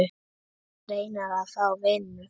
Reyna að fá vinnu?